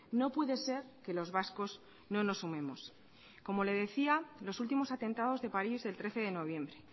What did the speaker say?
no puede ser que los vascos no nos sumemos como le decía los últimos atentados de paris del trece de noviembre